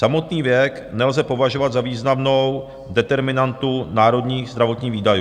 Samotný věk nelze považovat za významnou determinantu národních zdravotních výdajů.